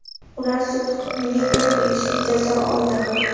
Ular sud hukmiga ko‘ra tegishli jazo oldi.